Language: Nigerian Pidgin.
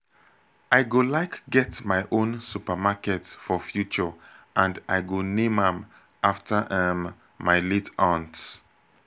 i go like get my own supermarket for future and i go name am after um my late aunt